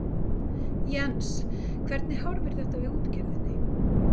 Jens hvernig horfir þetta við útgerðinni?